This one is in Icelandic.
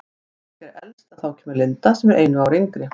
Björg er elst en þá kemur Linda sem er einu ári yngri.